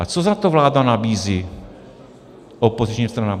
A co za to vláda nabízí opozičním stranám?